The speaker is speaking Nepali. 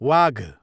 वाघ